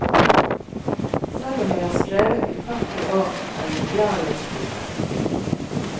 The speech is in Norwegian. Selv om jeg har skrevet i førti år, er jeg glad i å skrive.